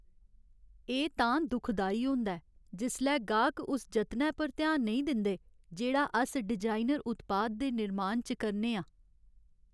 एह् तां दुखदाई होंदा ऐ जिसलै गाह्क उस जतनै पर ध्यान नेईं दिंदे जेह्ड़ा अस डिजाइनर उत्पाद दे निर्माण च करने आं।